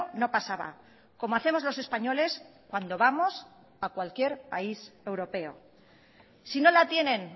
no pasaba como hacemos los españoles cuando vamos a cualquier país europeo si no la tienen